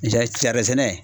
sɛnɛ.